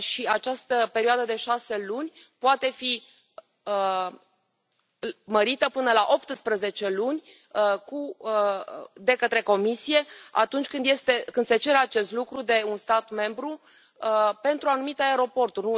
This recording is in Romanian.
Această perioadă de șase luni poate fi mărită până la 18 luni de către Comisie, atunci când se cere acest lucru de un stat membru pentru anumite aeroporturi.